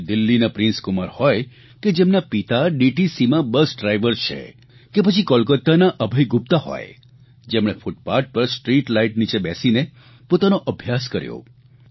પછી એ દિલ્હીના પ્રિન્સકુમાર હોય કે જેમના પિતા ડીટીસીમાં બસ ડ્રાઇવર છે કે પછી કોલકાતાના અભય ગુપ્તા હોય જેમણે ફૂટપાથ પર સ્ટ્રીટલાઇટ નીચે બેસીને પોતાનો અભ્યાસ કર્યો